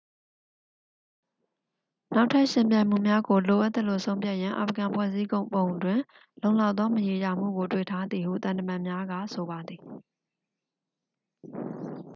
နောက်ထပ် ယှဉ်ပြိုင်မှုများကို လိုအပ်သလို ဆုံးဖြတ်ရန် အာဖဂန် ဖွဲ့စည်းပုံတွင် လုံလောက်သော မရေရာမှုကို တွေ့ထားသည်ဟု သံတမန်များက ဆိုပါသည်